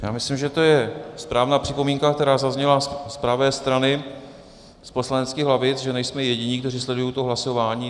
Já myslím, že to je správná připomínka, která zazněla z pravé strany z poslaneckých lavic, že nejsme jediní, kteří sledují to hlasování.